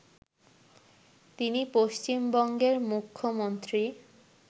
তিনি পশ্চিমবঙ্গের মুখ্যমন্ত্রী